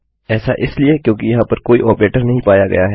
ऐसा इसलिए क्योंकि यहाँ पर कोई ऑपरेटर नहीं पाया गया है